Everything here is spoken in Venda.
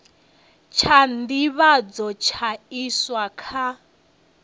tsha nḓivhadzo tsha iswa kha